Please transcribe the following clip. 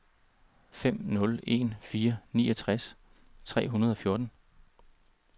fem nul en fire niogtres tre hundrede og fjorten